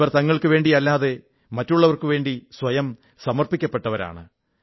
ഇവർ തങ്ങൾക്കുവേണ്ടിയല്ലാതെ മറ്റുള്ളവർക്കുവേണ്ടി സ്വയം സമർപ്പിക്കപ്പെട്ടവരാണ്